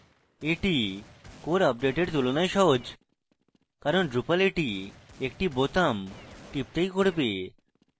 easy core আপডেটের তুলনায় সহজ কারণ drupal easy একটি বোতাম টিপতেই করবে